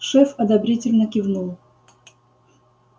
шеф одобрительно кивнул